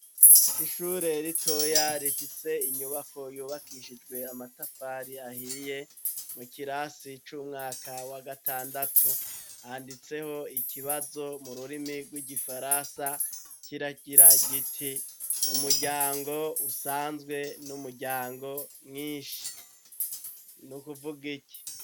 Ishure ritoya rifise inyubako yubakishijwe amatafari ahiye, mu kirasi c'umwaka wa gatandatu ,handitseho ikibazo mururimi rw'igifaransa kiragira giti :umuryango usanzwe n'umuryango mwinshi nukuvug'iki?